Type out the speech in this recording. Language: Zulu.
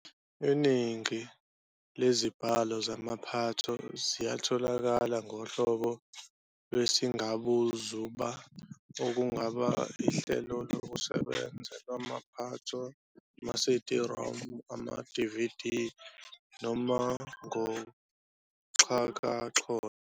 Iningi lezibhalo zamaphatho ziyatholakala ngohlobo lwesingabuzuba okungaba ihlelokusebenza lamaphatho, ama-SiDi-ROM, amaDividi, noma ngoxhakaxholo.